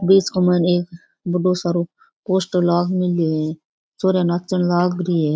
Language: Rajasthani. बीच के माइन एक बड़ो सरो पोस्टर लाग मैल्यो है छोरियां नाचन लाग री है।